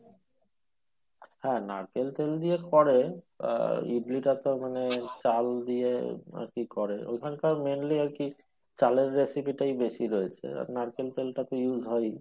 হ্যাঁ নারকেল তেল দিয়ে করে আহ ইডলি টা তো মনে হয় চাল দিয়ে নাকি করে ঐখানটায় mainly আরকি চালের recipe টাই বেশি দেখি আর নারকেল তেলটা তো use হয় ই